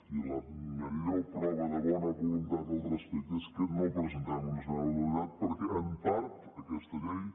i la millor prova de bona voluntat al respecte és que no presentem una esmena a la totalitat perquè en part aquesta llei